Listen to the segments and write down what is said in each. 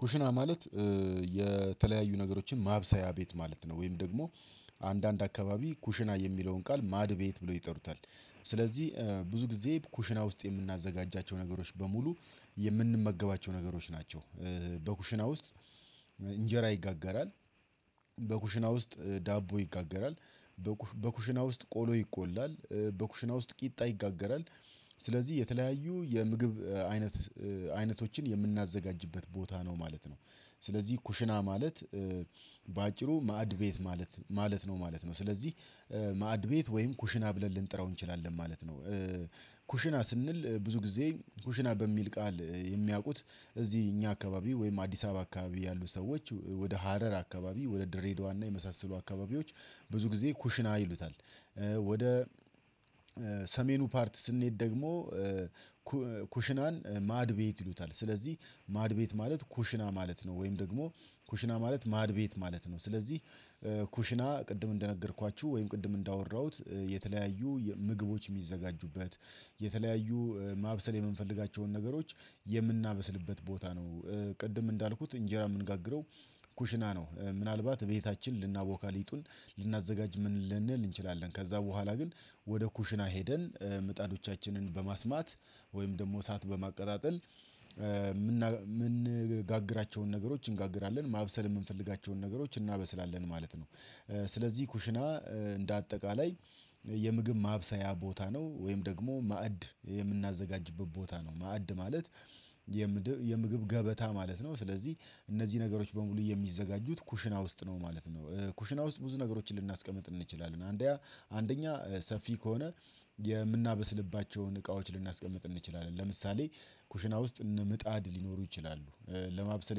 ኩሽና ማለት የተለያዩ ነገሮችን ማብሰያ ቤት ማለት ነው ወይም ደግሞ አንዳንድ አከባቢ ኩሽና የሚለውን ቃል ማዕድ ቤት ብለው ይጠሩታል። ስለዚህ ብዙ ጊዜ ኩሽና ውስጥ የምናዘጋጃቸው ነገሮች በሙሉ የምንመገባቸው ነገሮች ናቸው። በኩሽና ውስጥ እንጀራ ይጋጋራል። ውስጥ ዳቦ ይጋገራል። በኩሽና ውስጥ ቆሎ ይቆላል በኩሽና ውስጥ ቂጣ ይጋገራል። ስለዚህ የተለያዩ የምግብ አይነቶችን የምናዘጋጅበት ቦታ ነው ማለት ነው። ስለዚህ ኩሽና ማለት በአጭሩ ማዕድ ቤት ማለት ነው ማለት ነው። ስለዚህ ማዕድ ቤት ወይም ኩሽና ብለን ልንጥራው እንችላለን ማለት ነው። ኩሽና ስንል ብዙ ጊዜ ኩሽና በሚል ቃል የሚያውቁት እዚህ እኛ አካባቢ ወይም አዲስ አበባ አካባቢ ያሉ ሰዎች ወደ ሀረር አካባቢ ወደ ድሬዳዋ እና የመሳሰሉ አካባቢዎች ብዙ ጊዜ ኩሽና ይሉታል። ወደ ሰሜኑ ፓርት ስንሄድ ደግሞ ኩሽናን ማዕድ ቤት ይሉታል። ስለዚህ ማዕድ ቤት ማለት ኩሽና ማለት ነው። ወይም ደግሞ ኩሽና ማለት ማዕድ ቤት ማለት ነው። ስለዚህ ኩሽና ቅድም እንደነገርኳችሁ ወይም ቅድም እንዳወራሁት የተለያዩ ምግቦች የሚዘጋጁበት የተለያዩ ማብሰል የምንፈልጋቸውን የምናበስልበት ቦታ ነው። ቅድም እንዳልኩት እንጀራ የምንጋግረው ኩሽና ነው። ምናልባት ከቤታችን ልናቦካ ሊጡን ልናዘጋጅ ልንል እንችላለን ከዚያ በኋላ ግን ወደ ኩሽና ሄደን ምጣዶቻችንን በማስማት ወይም ደግሞ እሳት በማቀጣጠል የምንጋግራቸውን ነገሮች እንጋግራለን ማብሰል የምንፈልጋቸውን ነገሮች እናበስላለን ማለት ነው። ስለዚህ ኩሽና እንደ አጠቃላይ የምግብ ማብሰያ ቦታ ነው። ወይም ደግሞ ማዕድ የምናዘጋጅበት ቦታ ነው። ማዕድ ማለት የምግብ ገበታ ማለት ነው። ስለዚህ እነዚህ ነገሮች በሙሉ የሚዘጋጁት ኩሽና ውስጥ ነው ማለት ነው። ኩሽና ውስጥ ብዙ ነገሮችን ልናስቀምጥ እንችላለን። አንደኛ ሰፊ ከሆነ የምናበስልባቸውን እቃዎች ልናስቀምጥ እንችላለን ለምሳሌ ኩሽና ውስጥ እነ ምጣድ ሊኖሩ ይችላሉ ለማብሰል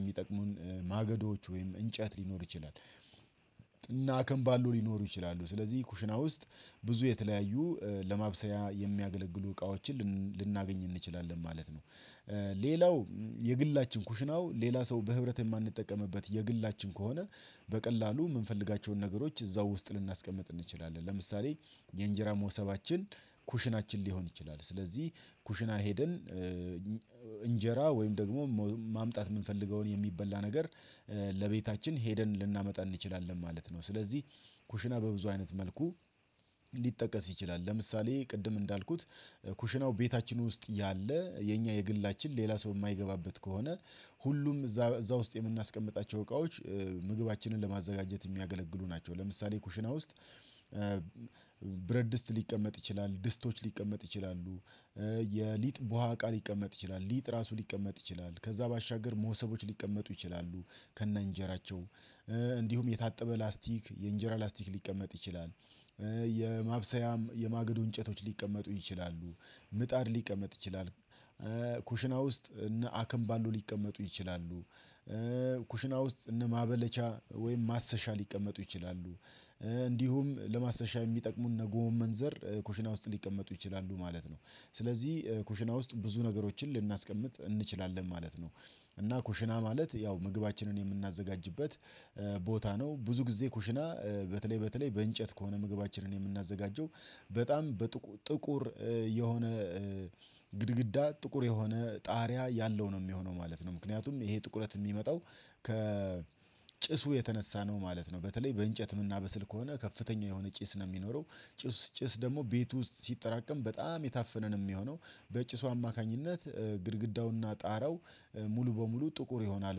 የሚጠቅሙን ማገዶች ወይም እንጨት ሊኖር ይችላል። እነአከምባሎ ሊኖሩ ይችላሉ ስለዚህ ኩሽና ውስጥ ብዙ የተለያዩ ለማብሰያ የሚያገለግሉ እቃዎችን ልናገኝ እንችላለን ማለት ነው። ሌላው የግላችን ኩሽናው ሌላ ሰው በህብረት የማንጠቀምበት የግላችን ከሆነ በቀላሉ የምንፈልጋቸውን ነገሮች እዚያው ውስጥ ልናስቀምጥ እንችላለን። ለምሳሌ የእንጀራ ሞሶባችን ኩሽናችን ሊሆን ይችላል። ስለዚህ ኩሽና ሄደን እንጀራ ወይም ደግሞ ማምጣት የምንፈልገውን የሚበላ ነገር ለቤታችን ሄደን ልናመጣ እንችላለን ማለት ነው። ስለዚህ ኩሽና በብዙ አይነት መልኩ ሊጠቀስ ይችላል። ለምሳሌ ቅድም እንዳልኩት ኩሽናው ቤታችን ውስጥ ያለ የእኛ የግላችን ሌላ ሰው የማይገባበት ከሆነ ሁሉም እዚያ ውስጥ የምናስቀምጣቸው እቃዎች ምግባችንን ለማዘጋጀት የሚያገለግሉ ናቸው። ለምሳሌ ኩሽና ውስጥ ብረትድስት ሊቀመጥ ይችላል ድስቶች ሊቀመጡ ይችላሉ። የሊጥ ቡሀቃ ሊቀመጥ ይችላል ሊጥ እራሱ ሊቀመጥ ይችላል ከዚያ ባሻገር መሶቦች ሊቀመጡ ይችላሉ። ከእነ እንጀራቸው እንዲሁም የታጠበ ላስቲክ የእንጀራ ላስቲክ ሊቀመጥ ይችላል። የማብሰያም የማገዶ እንጨቶች ሊቀመጡ ይችላሉ። ምጣድ ሊቀመጥ ይችላል። ኩሽና ውስጥ እነ አክምባሎ ሊቀመጡ ይችላሉ። ኩሽና ውስጥ እነ ማበለቻ ወይም ማሰሻ ሊቀመጡ ይችላሉ። እንዲሁም ለማሰሻ የሚጠቅሙንእነ ጎመንዘር ኩሽና ውስጥ ሊቀመጡ ይችላሉ ማለት ነው። ስለዚህ ኩሽና ውስጥ ብዙ ነገሮችን ልናስቀምጥ እንችላለን ማለት ነው። እና ኩሽና ማለት ያው ምግባችንን የምናዘጋጅበት ቦታ ነው። ብዙ ጊዜ ኩሽና በተለይ በተለይ በእንጨት ከሆነ ምግባችንን የምናዘጋጀው በጣም ጥቁር የሆነ ግድግዳ ጥቁር የሆነ ጣሪያ ያለው ነው የሚሆነው ማለት ነው። ምክንያቱም ይሄ ጥቁረት የሚመጣው ከ ጭሱ የተነሳ ነው ማለት ነው። በተለይ በእንጨት ምናበስል ከሆነ ከፍተኛ የሆነ ጭስ ነው የሚኖረው። ጭስ ደግሞ ቤት ውስጥ ሲጠራቀም በጣም የታፈነ ነው የሚሆነው። በጭሱ አማካኝነት ግድግዳውና ጣራው ሙሉ በሙሉ ጥቁር ይሆናል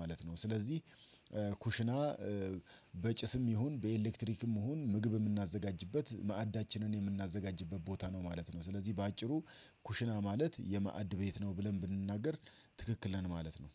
ማለት ነው። ስለዚህ ኩሽና በጭስም ይሁን በኤሌክትሪክም ይሁን ምግብ የምናዘጋጅበት ማዕዳችንን የምናዘጋጅበት ቦታ ነው ማለት ነው። ስለዚህ በአጭሩ ኩሽና ማለት የማዕድ ቤት ነው ብለን ብንናገር ትክክለን ማለት ነው